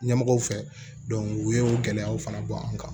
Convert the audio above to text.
Ɲɛmɔgɔw fɛ u ye gɛlɛyaw fana bɔ an kan